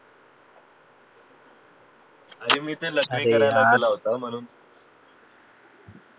अरे मी ते लथाइ करायला गेलं होत म्हणून